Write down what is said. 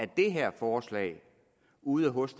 det her forslag ude hos